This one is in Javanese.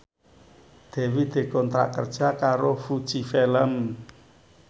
Dewi dikontrak kerja karo Fuji Film